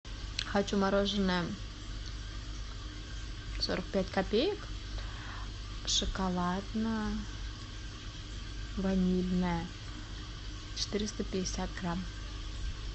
хочу мороженое сорок пять копеек шоколадно ванильное четыреста пятьдесят грамм